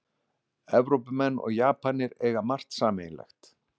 Evrópumenn og Japanir eiga margt sameiginlegt